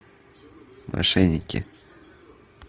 мошенники